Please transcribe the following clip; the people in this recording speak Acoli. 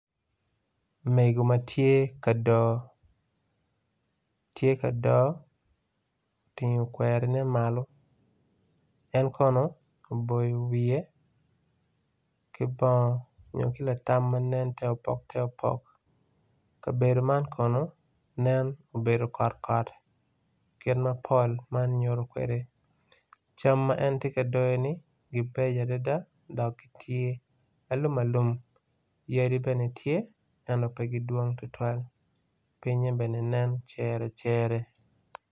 Mego matye ka dor, tye ka dor otingo kwerine malo en kono oboyo wiye ki bongo nyo ki latam ma nen te opok te opok kabedo man kono nen obedo kot kot kit mapol man nyuto kwede. cam ma en tye ka doyoni gibeco adada dok gitye alum alum yadi bene tye ento pe kidwong tutwal pinye bene nen cere cere.